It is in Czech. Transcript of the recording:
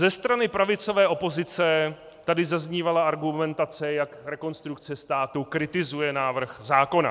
Ze strany pravicové opozice tady zaznívala argumentace, jak Rekonstrukce státu kritizuje návrh zákona.